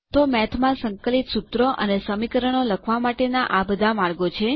તો મેથમાં સંકલિત સુત્રો અને સમીકરણો લખવા માટે ના આ બધા માર્ગો છે